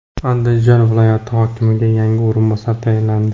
Andijon viloyati hokimiga yangi o‘rinbosar tayinlandi.